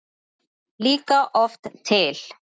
líka oft til.